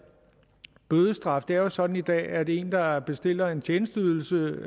bødestraf det er jo sådan i dag at en der bestiller en tjenesteydelse